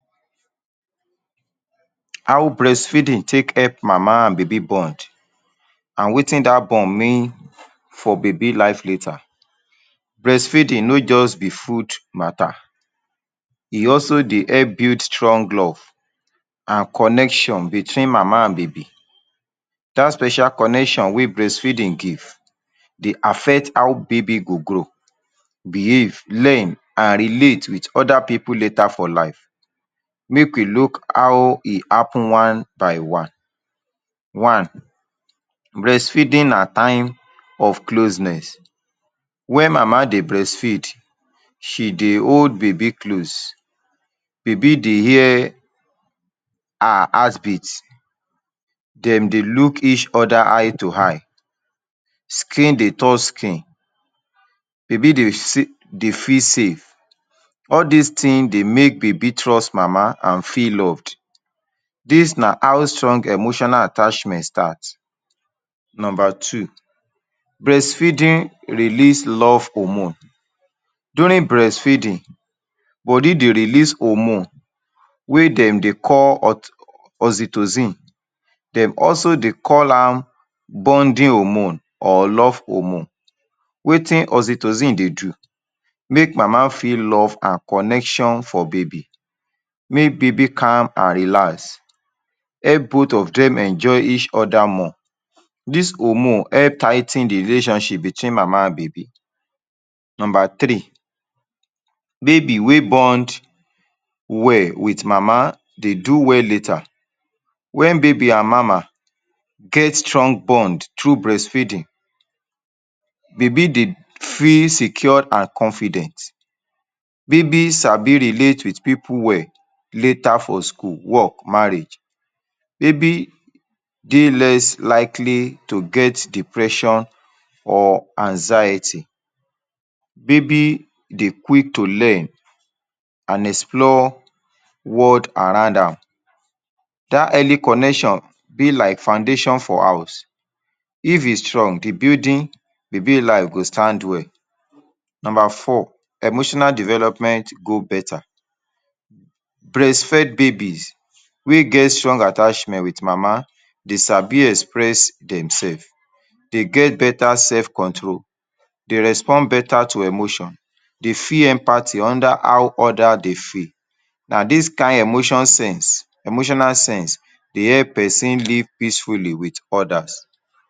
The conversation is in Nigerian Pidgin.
6 How breastfeeding take help mama and baby bond and wetin that bond mean for baby life healthier breastfeeding no just be food mata e also dey help bring strong love and connection between mama and baby that special connection wey breastfeeding give dey affect how baby go grow, behave, learn and relate with other people letter for life make. we look how e happen one by one. One: breastfeeding na time of closeness where mama dey breastfeed. she dey hold baby close baby dey hear her heart beat dem dey look each other eye to eye skin dey touch skin baby dey feel sey all this thing dey make baby trust mama and feel loved. this na how strong emotional attachment start number. Two: breastfeeding release love hormone during breastfeeding .body dey release hormone wey dem dey call oxytocin; dey also dey call am bonding hormone or love hormone. wetin oxytocin dey do: make mama feel love and connection for baby, make baby calm and relaxed, help both of dem enjoy each other more. this hormone help tigh ten de relationship between mama and baby. number three: baby wey bond well with mama dey do well later when baby and mama get strong bond through breastfeeding; baby dey feel secured and confident baby sabi relate with people well later for school work, marriage baby dey less likely to get depression or anxiety. baby dey quick to learn and explore world around am. that early connection between dey like foundation for house; if e strong, de building - baby life, go stand well. number four: emotional development: to grow beta breastfeed babies wey get strong attachment with mama dey sabi express dem self, dey get beta self control, dey respond beta to emotion dey feel empathy, understand how others dey feel, na this kind emotional sense dey help person live peacefully with others.